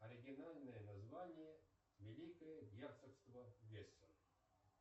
оригинальное название великое герцогство гессен